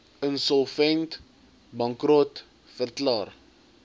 insolvent bankrot verklaar